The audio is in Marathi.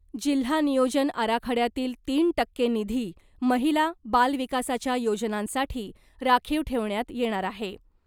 जिल्हा नियोजन आराखड्यातील तीन टक्के निधी महिला , बालविकासाच्या योजनांसाठी राखीव ठेवण्यात येणार आहे .